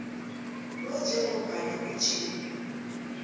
lo njengombana kutjhiwo